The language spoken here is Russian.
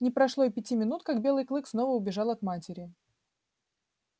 не прошло и пяти минут как белый клык снова убежал от матери